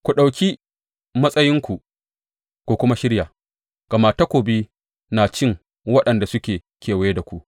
Ku ɗauki matsayinku ku kuma shirya, gama takobi na cin waɗanda suke kewaye da ku.’